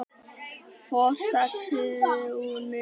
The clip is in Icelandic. Fossatúni